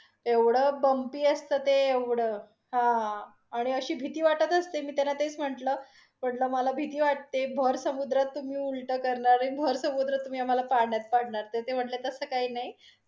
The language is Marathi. एवढं bumpy असते ते, एवढं हा. आणि आशी भीती वाटत असते, मी त्यांना तेच म्हटल, म्हटल मला भीती वाटते भर समुद्रात तुम्ही उलट करणार आणि भर समुद्रात आम्हाला पाण्यात पडणार, तर म्हणले की तस काही नाहीं.